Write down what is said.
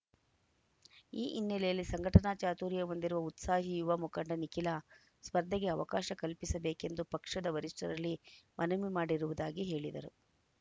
ಈ ಹಿನ್ನೆಲೆಯಲ್ಲಿ ಸಂಘಟನಾ ಚಾತುರ್ಯ ಹೊಂದಿರುವ ಉತ್ಸಾಹಿ ಯುವ ಮುಖಂಡ ನಿಖಿಲ ಸ್ಪರ್ಧೆಗೆ ಅವಕಾಶ ಕಲ್ಪಿಸಬೇಕೆಂದು ಪಕ್ಷದ ವರಿಷ್ಠರಲ್ಲಿ ಮನವಿ ಮಾಡಿರುವುದಾಗಿ ಹೇಳಿದರು